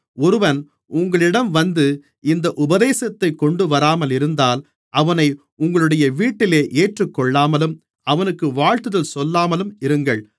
ஒருவன் உங்களிடம் வந்து இந்த உபதேசத்தைக் கொண்டுவராமல் இருந்தால் அவனை உங்களுடைய வீட்டிலே ஏற்றுக்கொள்ளாமலும் அவனுக்கு வாழ்த்துதல் சொல்லாமலும் இருங்கள்